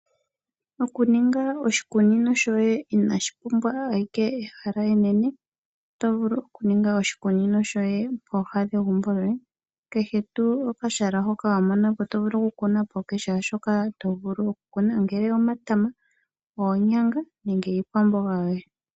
Okuninga oshikunino shoye inashi pumbwa ehala enene. Oto vulu okuninga oshikunino shoye pooha dhegumbo lyoye kehe tuu okahala hoka wa mona po to vulu okukuna po kehe shoka to vulu okukuna po, ongele omatama, oonyanga nenge iikwamboga yoye.